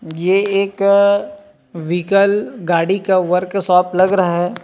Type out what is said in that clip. ये एक विकल गाड़ी का वर्कशॉप लग रहा हैं।